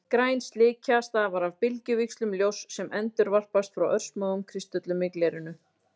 Græn slikja stafar af bylgjuvíxlum ljóss sem endurvarpast frá örsmáum kristöllum í glerinu.